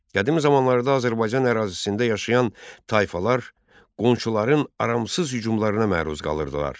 Qədim zamanlarda Azərbaycan ərazisində yaşayan tayfalar qonşuların aramsız hücumlarına məruz qalırdılar.